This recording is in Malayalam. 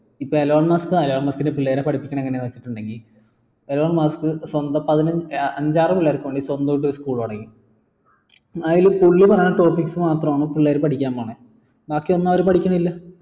ഇപ്പൊ എലോൺ മസ്ക് എലോൺ മസ്കിന്റെ പിള്ളേരെ പഠിപ്പിക്കുന്നത് എങ്ങനെയാണെന്ന് വെച്ചിട്ടുണ്ടെങ്കിൽ എലോൺ മസ്ക് സ്വന്തം അഞ്ചാറ് കൊല്ലം സ്വന്തായിട്ട് ഒരു school തുടങ്ങി അയില് പുള്ളി പറയണ topics മാത്രാണ് പിള്ളേർ പഠിക്കാൻ പോണേ ബാക്കി ഒന്നു അവർ പഠികണില്ല